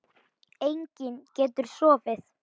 Enginn getur sofið.